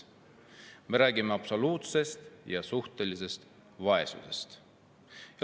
Me räägime absoluutsest ja suhtelisest vaesusest.